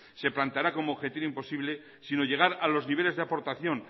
se plantará como objetivo imposible sino llegar a los niveles de aportación